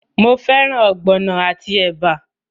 Mo fẹ́ràn ogbono àti ẹ̀bà?